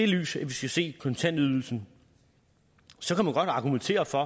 lys vi skal se kontantydelsen så kan man godt argumentere for